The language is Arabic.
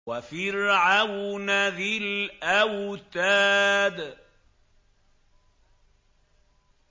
وَفِرْعَوْنَ ذِي الْأَوْتَادِ